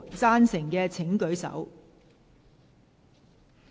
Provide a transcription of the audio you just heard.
贊成的請舉手。